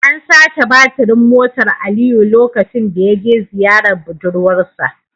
An sace batirin motar Aliyu lokacin da ya je ziyarar budurwar sa